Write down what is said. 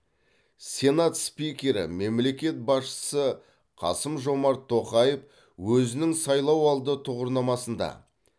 сенат спикері мемлекет басшысы қасым жомарт тоқаев өзінің сайлауалды тұғырнамасында